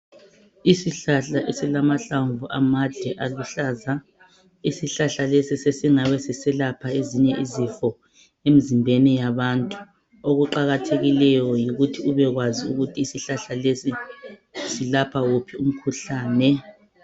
Isihlahla esilamahlamvu amade aluhlaza isihlahla lesi sesingabe siselapha ezinye izifo emzimbeni yabantu okuqakathekileyo yikuthi ubekwazi ukuthi isihlahla lesi silapha wuphi umkhuhlane